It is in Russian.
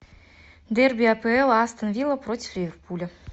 дерби апл астон вилла против ливерпуля